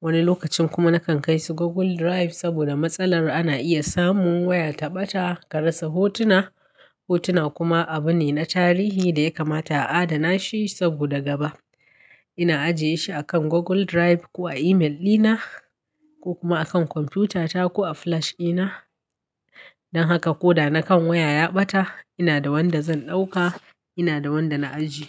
Wani lokacin kuma nakan kai su Google Drive saboda matsalar ana iya samun waya ta ɓata ka rasa hotuna. Hotuna kuma abu ne na tarihi da ya kamata a adana shi. Saboda gaba ina ajiyeshi akan Google Drive ko a email dina ko kuma akan kwamfutata ko a flash dina. Don haka ko da na kan waya ya ɓata ina da wanda zan ɗauka. Ina da wanda na ajiye.